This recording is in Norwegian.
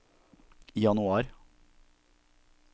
januar